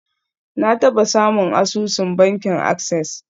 Na taba samun asusun bankin access.